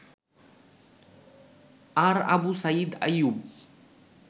আর Abu Sayeed Ayub